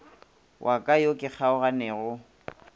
wa ka yo ke kgaoganego